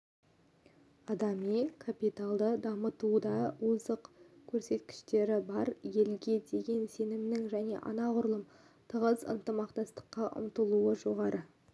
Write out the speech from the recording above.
адами капиталды дамытуда озық көрсеткіштері бар елге деген сенімнің және анағұрлым тығыз ынтымақтастыққа ұмтылудың жоғары